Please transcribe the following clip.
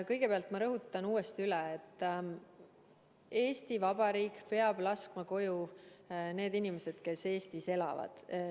Kõigepealt ma rõhutan uuesti üle: Eesti Vabariik peab laskma koju need inimesed, kes Eestis elavad.